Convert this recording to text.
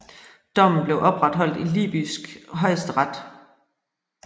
Dommen blev opretholdt i libysk højesteret